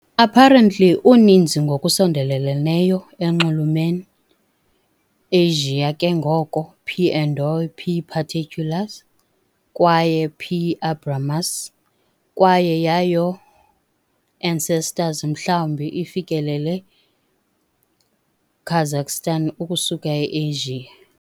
apparently uninzi ngokusondeleleneyo enxulumen Asian ke ngoko "P. endoi", "P. paterculus", kwaye "P. abramus", kwaye yayo ancestors mhlawumbi ifikelele Kazakhstan ukusuka e-Asia.